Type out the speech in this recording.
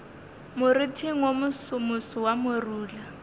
moriting wo mosomoso wa morula